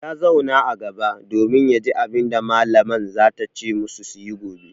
Ya zauna a gaba domin ya ji abin da mallaman za ta ce masu su yi gobe.